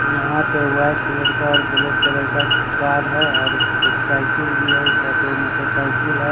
यहाँ पे white colour का और ग्रे कलर का कार है और एक साइकिल भी है उसके अंदर दो मोटरसाइकिल है।